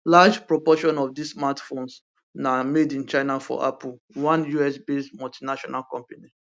large proportion of dis smartphones na made in china for apple one usbased multinational company